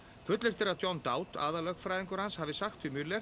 fullyrt er að John aðallögfræðingur hans hafi sagt við